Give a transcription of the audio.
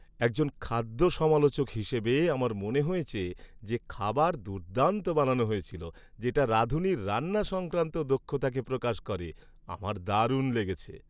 একজন খাদ্য সমালোচক হিসাবে, আমার মনে হয়েছে যে খাবার দুর্দান্ত বানানো হয়েছিল, যেটা রাঁধুনির রান্না সংক্রান্ত দক্ষতাকে প্রকাশ করে। আমার দারুণ লেগেছে।